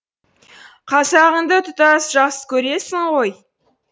қазағыңды тұтас жақсы көресің ғой